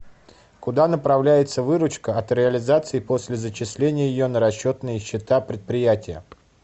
куда направляется выручка от реализации после зачисления ее на расчетные счета предприятия